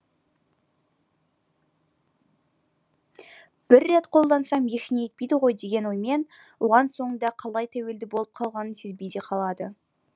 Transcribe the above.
бір рет қолдансам ештеңе етпейді ғой деген оймен оған соңында қалай тәуелді болып қалғанын сезбей де қалады